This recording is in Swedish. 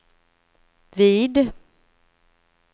vid